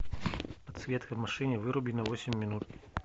подсветка в машине выруби на восемь минут